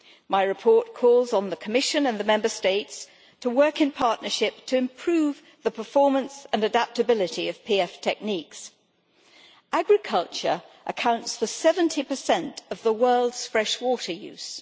My report calls on the Commission and the Member States to work in partnership to improve the performance and adaptability of PF techniques. Agriculture accounts for 70 of the world's freshwater use